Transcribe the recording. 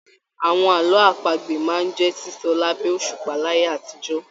Àwọn àlọ́ àpagbè máa n jẹ sísọ labẹ òṣùpá láyé àtijọ́